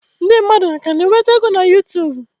Ndị mmadụ ka na-enweta ego na Yutubu?